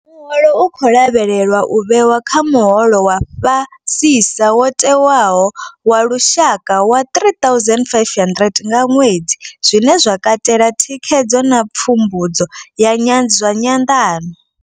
Muholo u khou lavhelelwa u vhewa kha muholo wa fhasisa wo tewaho wa lushaka wa R3 500 nga ṅwedzi, zwine zwa katela thikhedzo na pfumbudzo zwa nyanḓano.